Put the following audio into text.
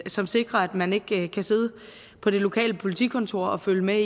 som sikrer at man ikke kan sidde på det lokale politikontor og følge med